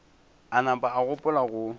a nama a gopola go